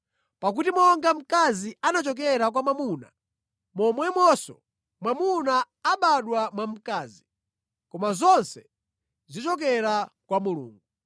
Pakuti monga mkazi anachokera kwa mwamuna, momwemonso mwamuna anabadwa mwa mkazi. Koma zonse zichokera kwa Mulungu.